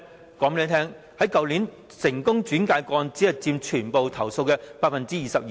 我告訴大家，去年獲成功轉介的個案只佔全部投訴的 22%。